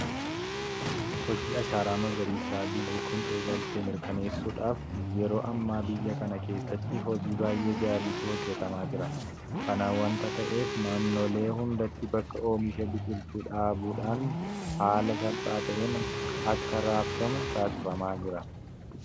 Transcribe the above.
Hojii ashaaraa magariisaa biyyi kun eegalte mirkaneessuudhaaf yeroo ammaa biyya kana keessatti hojii baay'ee gaariitu hojjetamaa jira. Kana waanta ta'eef naannolee hundatti bakka oomisha biqiltuu dhaabuudhaan haala salphaa ta'een akka raabsamu taasifamaa jira.